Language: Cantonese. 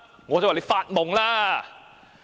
"我回應："你發夢吧！